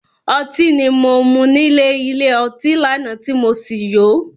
Otí ni mo mú nílè ilé ọtí lánàá tí mo sì yó.